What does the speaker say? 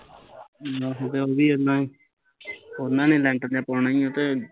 ਆਹੋ ਤੇ ਉਹ ਵੀ ਕਹਿੰਦਾ ਐ ਉਹਨਾਂ ਨੇ ਲੈਟਰ ਜਿਹਾ ਪਾਉਣਾ ਈ ਤੇ